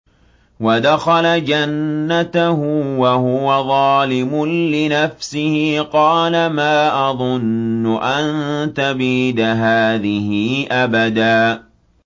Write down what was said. وَدَخَلَ جَنَّتَهُ وَهُوَ ظَالِمٌ لِّنَفْسِهِ قَالَ مَا أَظُنُّ أَن تَبِيدَ هَٰذِهِ أَبَدًا